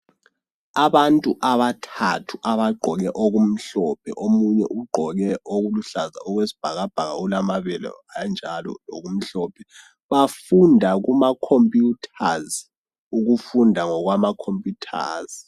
Abantu abathathu abagqoke okumhlophe, omunye ugqoke okuluhlaza okwesibhakabhaka ulamabele anjalo lokumhlophe bafunda kumacomputers ukufunda ngokwamacomputers.